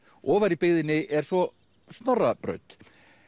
ofar í byggðinni er svo Snorrabraut